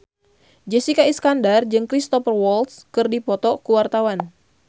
Jessica Iskandar jeung Cristhoper Waltz keur dipoto ku wartawan